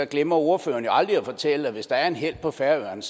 glemmer ordføreren jo aldrig at fortælle hvis der er en helt på færøerne